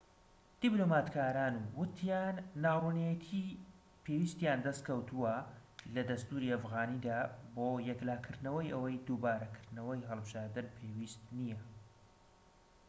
دیبلۆماتکاران وتیان ناڕوونێتی پێویستیان دەستکەوتووە لە دەستوری ئەفغانیدا بۆ یەکلاکردنەوەی ئەوەی دووبارەکردنەوەی هەڵبژاردن پێویست نیە